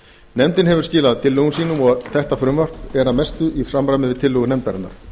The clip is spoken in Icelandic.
nefndin hefur skilað tillögum sínum og þetta frumvarp er að mestu í samræmi við tillögur nefndarinnar